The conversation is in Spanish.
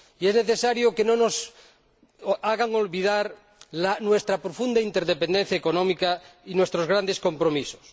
Y es necesario que no nos hagan olvidar nuestra profunda interdependencia económica y nuestros grandes compromisos.